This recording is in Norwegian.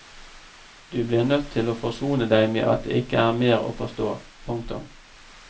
Du blir nødt til å forsone deg med at det ikke er mer å forstå. punktum